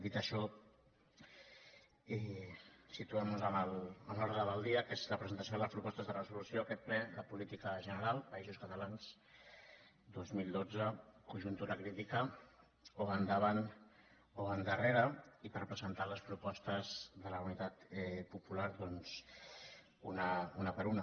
dit això situem·nos en l’ordre del dia que és la pre·sentació de les propostes de resolució a aquest ple de política general països catalans dos mil dotze conjuntura crítica o va endavant o va endarrere i per presentar les propostes de la unitat popular doncs una per una